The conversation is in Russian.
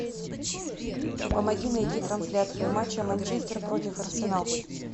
помоги найти трансляцию матча манчестер против арсенал